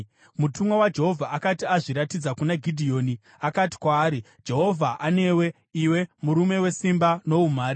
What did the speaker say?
Mutumwa waJehovha akati azviratidza kuna Gidheoni, akati kwaari, “Jehovha anewe, iwe murume wesimba noumhare.”